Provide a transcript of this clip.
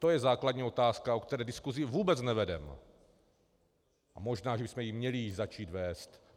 To je základní otázka, o které diskuzi vůbec nevedeme, a možná, že bychom ji měli začít vést.